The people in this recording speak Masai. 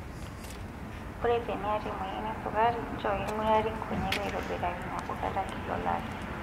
Ore teniyata emoyian esukari, nchoo king'urari nkonyek aitobiraki nabo kata kila olari.